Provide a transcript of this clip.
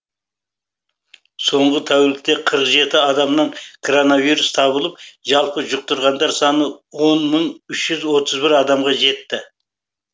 соңғы тәулікте қырық жеті адамнан коронавирус табылып жалпы жұқтырғандар саны он мың үш жүз отыз бір адамға жетті